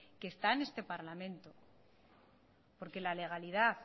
que está en este parlamento porque la legalidad